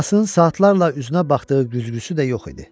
Anasının saatlarla üzünə baxdığı güzgüsü də yox idi.